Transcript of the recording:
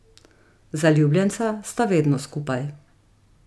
Zaljubljenca sta vedno skupaj.